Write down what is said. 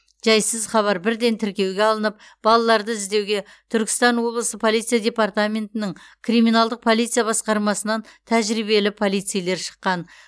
жайсыз хабар бірден тіркеуге алынып балаларды іздеуге түркістан облысы полиция департаментінің криминалдық полиция басқармасынан тәжірибелі полицейлер шыққан